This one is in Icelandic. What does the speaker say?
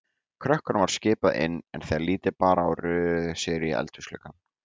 Krökkunum var skipað inn, en þegar lítið bar á röðuðu þau sér í eldhúsgluggann.